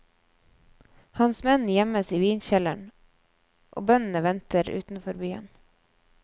Hans menn gjemmes i vinkjelleren og bøndene venter utenfor byen.